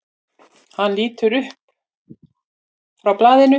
Hann lítur upp frá blaðinu.